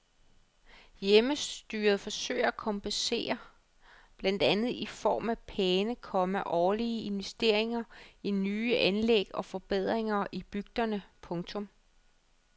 Hjemmestyret forsøger at kompensere blandt andet i form af pæne, komma årlige investeringer i nye anlæg og forbedringer i bygderne. punktum